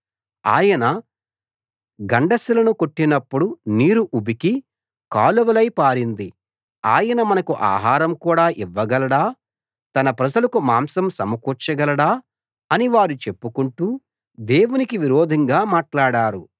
ఆయన గండ శిలను కొట్టినప్పుడు నీరు ఉబికి కాలువలై పారింది ఆయన మనకు ఆహారం కూడా ఇవ్వగలడా తన ప్రజలకు మాంసం సమకూర్చగలడా అని వారు చెప్పుకుంటూ దేవునికి విరోధంగా మాట్లాడారు